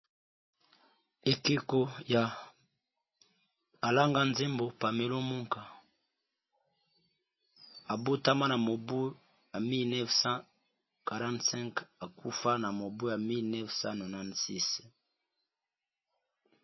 Ekeko ya alanga nzembo pamelomuka abotama na mobu ya 1945 akufa na mobu ya 196.